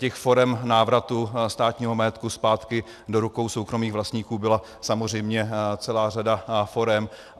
Těch forem návratu státního majetku zpátky do rukou soukromých vlastníků byla samozřejmě celá řada forem.